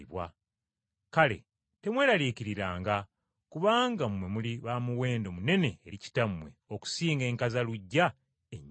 Kale temweraliikiriranga kubanga mmwe muli ba muwendo munene eri Kitammwe okusinga enkazaluggya ennyingi.